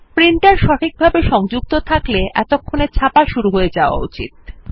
printer সঠিকভাবে সংযুক্ত থাকলে এতক্ষণে ছাপা শুরু হয়ে যাওয়া উচিত